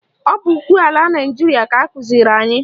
Ọ bụ ukwe ala Naịjiria ka akụziri anyị